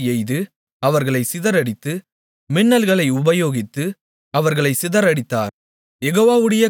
அவர் அம்புகளை எய்து அவர்களைச் சிதறடித்து மின்னல்களை உபயோகித்து அவர்களைச் சிதறடித்தார்